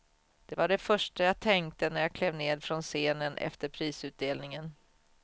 Det var det första jag tänkte, när jag klev ned från scenen efter prisutdelningen.